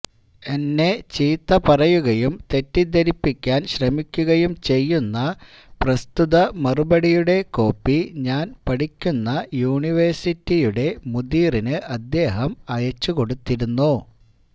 എന്നെ ചീത്ത പറയുകയും തെറ്റിദ്ധരിപ്പിക്കാന് ശ്രമിക്കുകയും ചെയ്യുന്ന പ്രസ്തുത മറുപടിയുടെ കോപ്പി ഞാന് പഠിക്കുന്ന യൂനിവേഴ്സിറ്റിയുടെ മുദീറിനു അദ്ദേഹം അയച്ചുകൊടുത്തിരുന്നു